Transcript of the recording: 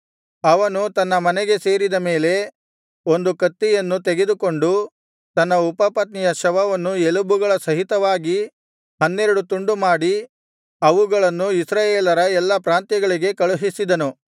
ಅವನು ತನ್ನ ಮನೆಗೆ ಸೇರಿದ ಮೇಲೆ ಒಂದು ಕತ್ತಿಯನ್ನು ತೆಗೆದುಕೊಂಡು ತನ್ನ ಉಪಪತ್ನಿಯ ಶವವನ್ನು ಎಲುಬುಗಳ ಸಹಿತವಾಗಿ ಹನ್ನೆರಡು ತುಂಡುಮಾಡಿ ಅವುಗಳನ್ನು ಇಸ್ರಾಯೇಲರ ಎಲ್ಲಾ ಪ್ರಾಂತ್ಯಗಳಿಗೆ ಕಳುಹಿಸಿದನು